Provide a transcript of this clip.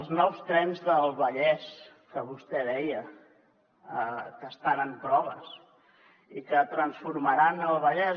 els nous trens del vallès que vostè deia que estan en proves i que transformaran el vallès